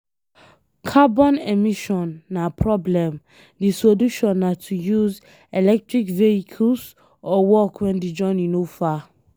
Carbon emission na problem, di solution na to use electric vehicles or walk when di journey no far